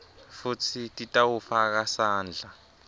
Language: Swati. futsi titawufaka sandla